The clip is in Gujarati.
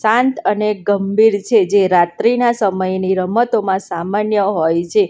શાંત અને ગંભીર છે જે રાત્રિના સમયની રમતોમાં સામાન્ય હોય છે.